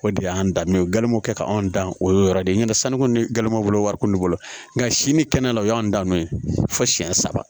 O de y'an danbe ye ganmugu kɛ anw dan o y'o yɔrɔ de ye n'o tɛ sanu ni gamu bolo wari kun de bolo nka sini kɛnɛ o y'an dan don ye fo siyɛn saba